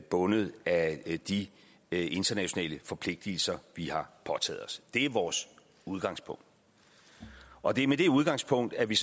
bundet af de internationale forpligtelser vi har påtaget os det er vores udgangspunkt og det er med det udgangspunkt at vi